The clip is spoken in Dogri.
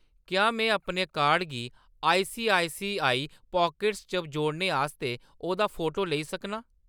क्या में अपने कार्ड गी आईसीआईसीआई पॉकेट्स च जोड़ने आस्तै ओह्‌‌‌दा फोटो लेई सकनां ?